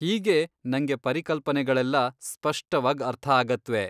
ಹೀಗೆ ನಂಗೆ ಪರಿಕಲ್ಪನೆಗಳೆಲ್ಲ ಸ್ಪಷ್ಟವಾಗ್ ಅರ್ಥ ಆಗತ್ವೆ.